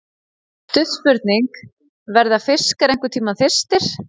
Stutt spurning, verða fiskar einhverntímann þyrstir!??